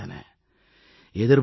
வெற்றிகளும் கிடைத்தன